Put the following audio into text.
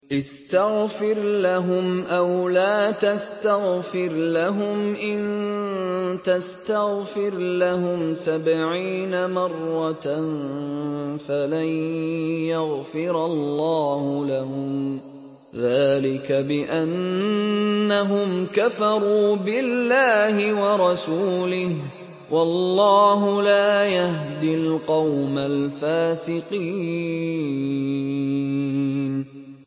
اسْتَغْفِرْ لَهُمْ أَوْ لَا تَسْتَغْفِرْ لَهُمْ إِن تَسْتَغْفِرْ لَهُمْ سَبْعِينَ مَرَّةً فَلَن يَغْفِرَ اللَّهُ لَهُمْ ۚ ذَٰلِكَ بِأَنَّهُمْ كَفَرُوا بِاللَّهِ وَرَسُولِهِ ۗ وَاللَّهُ لَا يَهْدِي الْقَوْمَ الْفَاسِقِينَ